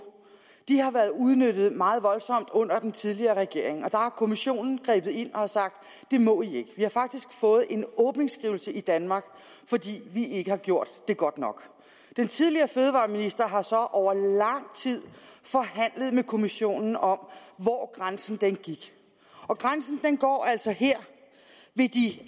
har været udnyttet meget voldsomt under den tidligere regering og der har kommissionen grebet ind og sagt det må i ikke vi har faktisk fået en åbningsskrivelse i danmark fordi vi ikke har gjort det godt nok den tidligere fødevareminister har så over lang tid forhandlet med kommissionen om hvor grænsen går og grænsen går altså her ved de